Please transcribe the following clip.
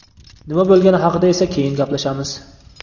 Nima bo‘lgani haqida esa keyin gaplashamiz.